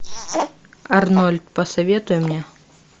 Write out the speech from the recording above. арнольд посоветуй мне